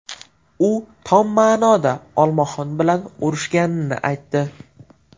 U tom ma’noda olmaxon bilan urushganini aytdi.